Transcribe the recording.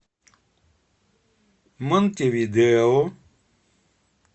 монтевидео